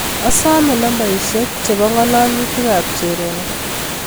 Asome nambaisyek chebo ngalalutik ab Cherono